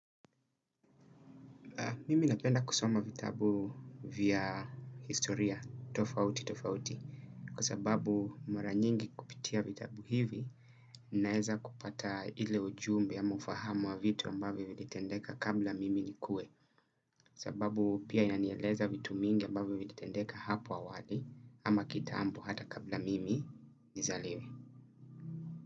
Mimi napenda kusoma vitabu vya historia tofauti tofauti. Kwa sababu mara nyingi kupitia vitabu hivi naeza kupata ile ujumbe au ufahamu wa vitu ambavyo vilitendeka kabla mimi nikue. Kwa sababu pia inanieleza vitu mingi ambaviyo vlitendeka hapo awali. Ama kitaambo hata kabla mimi nizaliwe.